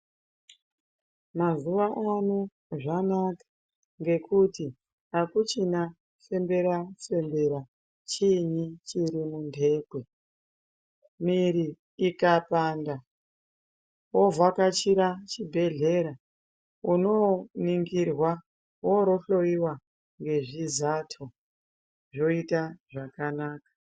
Mazuano zvanaka ngekuti akuchina fembera fembera chini chiri mundekwe miri ikapanda wovhakachira chibhehlera unoningirwa worohloiwa ngezvizato zvoita zvakanaka.